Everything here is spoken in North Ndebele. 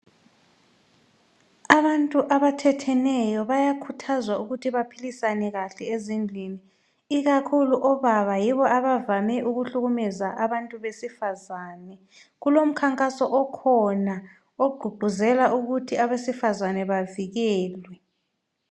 Abantu abathetheneyo bayakhuthazwa ukuthi baphilisane kahle ezindlini ikakhulu obaba yibo abavame ukuhlukumeza abantu abesifazane kulomkhankaso okhona ogqugquzela ukuthi abesifazane bavikelwe.